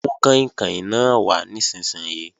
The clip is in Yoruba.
Mú kàìnkàìn náà wà nísinsìnyí!